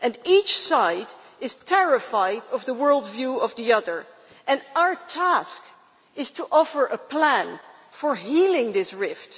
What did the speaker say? Each side is terrified of the world view of the other and our task is to offer a plan for healing this rift.